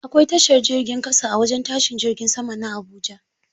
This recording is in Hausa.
Akwai tashar jirgin ƙasa a wajen tashin jirgin sama na Habuja.